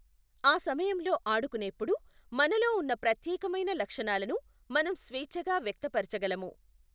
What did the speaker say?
ఆ సమయంలో ఆడుకునేప్పుడు మనలో ఉన్న ప్రత్యేకమైన లక్షణాలను మనం స్వేఛ్ఛగా వ్యక్తపరచగలము.